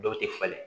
Dɔw tɛ falen